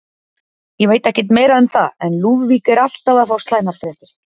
Ég veit ekkert meira um það, en Lúðvík er alltaf að fá slæmar fréttir.